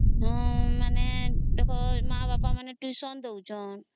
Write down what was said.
ହଁ ମାନେ ମା ବାପା ମାନେ tuition ଦଉ ଛନ